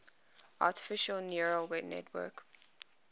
artificial neural network